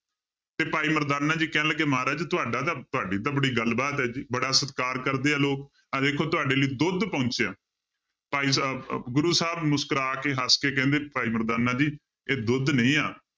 ਤੇ ਭਾਈ ਮਰਦਾਨਾ ਜੀ ਕਹਿਣ ਲੱਗੇ ਮਹਾਰਾਜ ਤੁਹਾਡਾ ਤਾਂ ਤੁਹਾਡੀ ਤਾਂ ਬੜੀ ਗੱਲਬਾਤ ਹੈ ਜੀ, ਬੜਾ ਸਤਿਕਾਰ ਕਰਦੇ ਆ ਲੋਕ ਆਹ ਦੇਖੋ ਤੁਹਾਡੇ ਲਈ ਦੁੱਧ ਪਹੁੰਚਿਆ ਭਾਈ ਸਾਹਿਬ ਅਹ ਗੁਰੂ ਸਾਹਿਬ ਮੁਸਕਰਾ ਕੇ ਹੱਸ ਕੇ ਕਹਿੰਦੇ ਭਾਈ ਮਰਦਾਨਾ ਜੀ ਇਹ ਦੁੱਧ ਨਹੀਂ ਆ